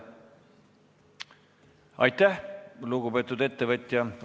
Aitäh, lugupeetud ettevõtja!